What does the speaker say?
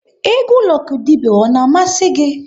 Egwu Lucky Dube ọ na-amasị gị?